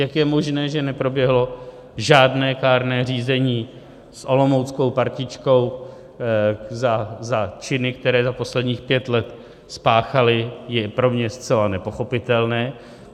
Jak je možné, že neproběhlo žádné kárné řízení s olomouckou partičkou za činy, které za posledních pět let spáchali, je pro mě zcela nepochopitelné.